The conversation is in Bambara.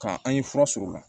Ka an ye fura sɔrɔ o la